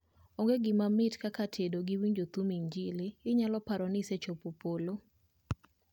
Onge gima mit kaka tedo gi winjo thum mar injili, inyalo paro ni isechopo polo